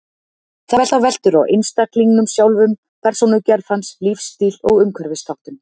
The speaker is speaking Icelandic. Þetta veltur á einstaklingnum sjálfum, persónugerð hans, lífsstíl og umhverfisþáttum.